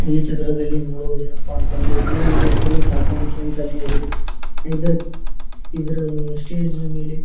ಈ ಚಿತ್ರದಲ್ಲಿ ನೋಡುವದೇನಪ್ಪಾ ಅಂತ ಅಂದ್ರೆ ಇದು ಒಂದು ಕುರಿ ಸಾಕಾಣಿಕೆ ಅಂತಾನೆ ಹೇಳಬಹುದು ಇದರ ಇದರ ಸ್ಟೇಜ್ ಮೇಲೆ --